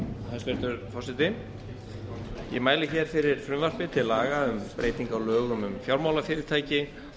forseti ég mæli hér fyrir frumvarpi til laga um breyting á lögum um fjármálafyrirtæki